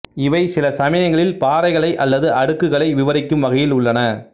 இவை சிலசமயங்களில் பாறைகளை அல்லது அடுக்குகளை விவரிக்கும் வகையில் உள்ளன